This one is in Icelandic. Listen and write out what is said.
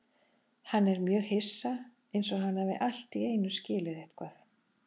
Hann er mjög hissa, einsog hann hafi allt í einu skilið eitthvað.